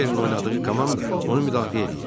Kiberin oynadığı komanda onu müdafiə eləyir.